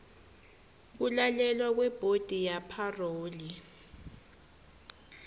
kulalelwa kwebhodi yepharoli